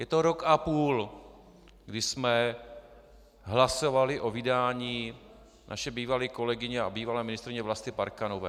Je to rok a půl, kdy jsme hlasovali o vydání naší bývalé kolegyně a bývalé ministryně Vlasty Parkanové.